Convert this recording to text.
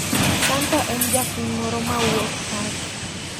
Santa en japiny moro mawuok Turkey.